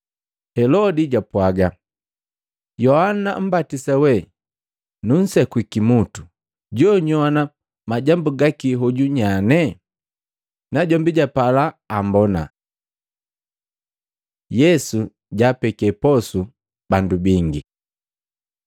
Helodi japwaaga, “Yohana mmbatisa we nunsekwii kimutu, jo nyowana majambu gake hoju nyane?” Najombi japala ammbona. Yesu jaapeke posu bandu bingi Matei 14:13-21; Maluko 6:30-44; Yohana 6:1-14